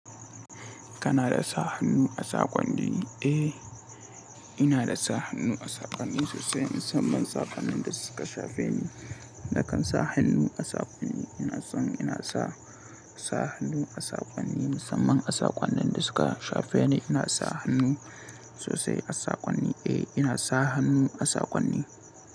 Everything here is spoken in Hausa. Kana da sa hannu a saƙon ni? Eh, ina da sa hannu a saƙonni sosai. Musamman saƙonnin da suka shafe ni, nakan sa hannu a saƙonni. Ina son ina sa, sa hannu a saƙonni musamman a saƙonnin da suka shafe ni. Ina sa hannu sosai a saƙonni. Eh, ina sa hannu a saƙonni.